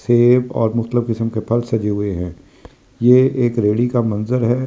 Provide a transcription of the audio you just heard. सेब और किस्म के फल सजे हुए हैं ये एक रैली का मंज़र हैं।